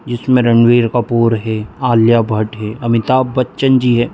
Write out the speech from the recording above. इसमें रणबीर कपूर है आलिया भट्ट है अमिताभ बच्चन जी है।